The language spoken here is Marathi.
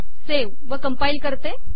सेव्ह व कंपाईल करतो